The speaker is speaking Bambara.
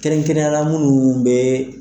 Kɛrɛnkɛrɛnnenya munnu be